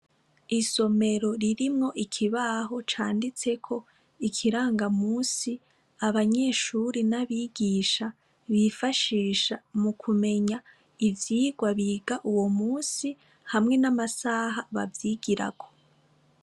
Isomero ririmwo ikibaho canditseko ikiranga musi abanyeshuri n'abigisha bifashisha mu kumenya ivyirwa biga uwo musi hamwe n'amasaha bavyigirako.